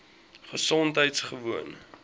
gesondheidgewoon